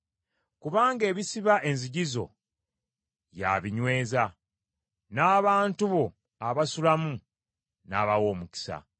kubanga ebisiba enzigi zo, ye abinyweza, n’abantu bo abasulamu n’abawa omukisa.